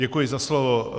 Děkuji za slovo.